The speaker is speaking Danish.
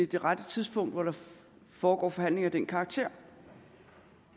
det rette tidspunkt hvor der foregår forhandlinger af den karakter